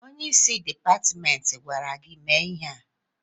Onye isi Dipatmentị agwara gị mee ihe a?